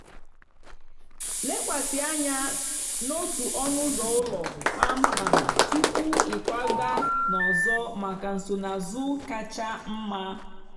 lekwasị anya n'otu ọnụ ụlọ kpamkpam tupu ịkwaga n'ọzọ maka nsonaazụ kacha mma.